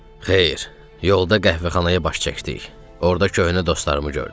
Xeyr, yolda qəhvəxanaya baş çəkdik, orda köhnə dostlarımı gördüm.